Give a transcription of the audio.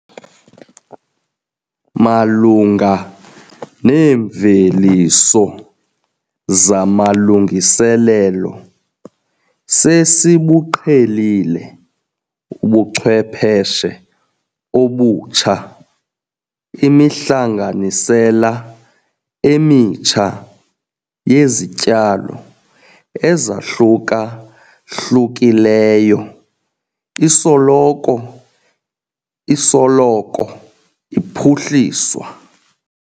Malunga neemveliso zamalungiselelo, sesibuqhelile ubuchwepheshe obutsha. Imihlanganisela emitsha yezityalo ezahluka-hlukileyo isoloko isoloko iphuhliswa.